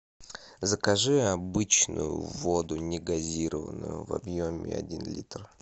закажи обычную воду негазированную в объеме один литр